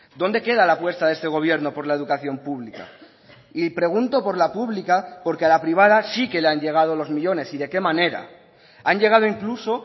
dónde queda la apuesta de este gobierno por la educación pública y pregunto por la pública porque a la privada sí que le han llegado los millónes y de qué manera han llegado incluso